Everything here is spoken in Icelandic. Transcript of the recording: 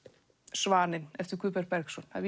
Svaninn eftir Guðberg Bergsson